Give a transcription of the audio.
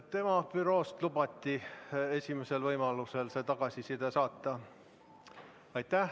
Tema büroost lubati esimesel võimalusel see tagasiside saata.